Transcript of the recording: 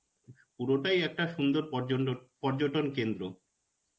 পুরোটাই একটা সুন্দর পর্য্য~ পর্যটন কেন্দ্র.